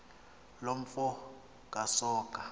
loo mfo kasoga